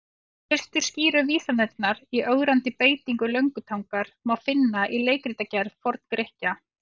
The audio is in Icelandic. Fyrstu skýru vísanirnar í ögrandi beitingu löngutangar má finna í leikritagerð Forn-Grikkja.